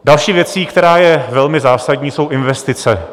Další věcí, která je velmi zásadní, jsou investice.